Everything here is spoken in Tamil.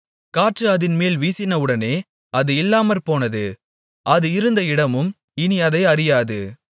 காற்று அதின்மேல் வீசினவுடனே அது இல்லாமற்போனது அது இருந்த இடமும் இனி அதை அறியாது